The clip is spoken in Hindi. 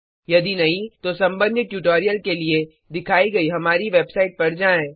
यदि नहीं तो संबंधित ट्यूटोरियल के लिए दिखाइ गई हमारी वेबसाइट पर जाएँ